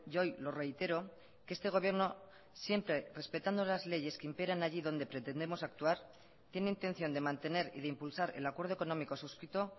hoy lo reitero que este gobierno siempre respetando las leyes que imperan allí donde pretendemos actuar tiene intención de mantener y de impulsar el acuerdo económico suscrito